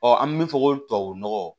an bɛ min fɔ ko tubabu nɔgɔ